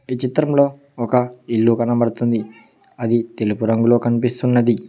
ఈ చిత్రంలో ఒక ఇల్లు కనపడుతుంది అది తెలుపు రంగులో కనిపిస్తున్నది.